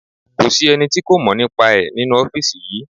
Kò sí ẹni tí kò mọ̀ nípa ẹ̀ nínú ọ́fìsì yìí